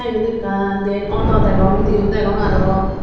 te iyot ekkan diyen auto degong undiyo degong aro.